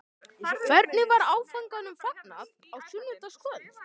Hvernig var áfanganum fagnað á sunnudagskvöld?